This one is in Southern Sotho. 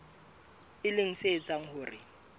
e leng se etsang hore